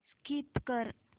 skip कर